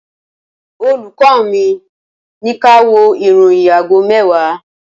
Olùkọ́ mi, ní ká wo ìròyìn àgó mewa